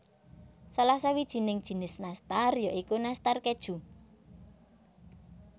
Salah sawijining jinis nastar ya iku Nastar Keju